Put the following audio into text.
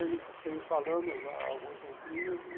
Eu venho venho falando já há algum tempinho.